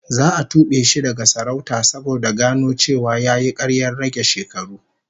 Za a tube shi daga sarauta saboda gano cewa yayi karyar rage shekaru